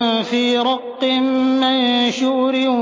فِي رَقٍّ مَّنشُورٍ